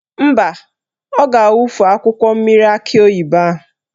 Mba, ọ ga-awufu mmiri akị oyibo ahụ.